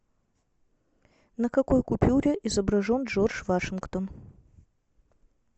на какой купюре изображен джордж вашингтон